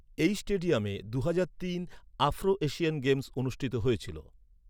এই স্টেডিয়ামে দুহাজার তিন আফ্রো এশিয়ান গেমস অনুষ্ঠিত হয়েছিল।